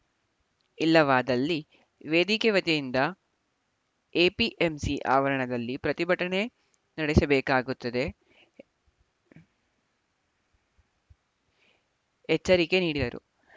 ಇಲ್ಲವಾದಲ್ಲಿ ವೇದಿಕೆ ವತಿಯಿಂದ ಎಪಿಎಂಸಿ ಆವರಣದಲ್ಲಿ ಪ್ರತಿಭಟನೆ ನಡೆಸಬೇಕಾಗುತ್ತದೆ ಎಚ್ಚರಿಕೆ ನೀಡಿದರು